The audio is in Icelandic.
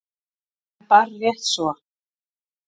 En bara rétt svo.